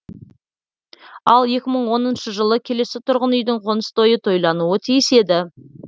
ал екі мың оныншы жылы келесі тұрғын үйдің қоныс тойы тойлануы тиіс еді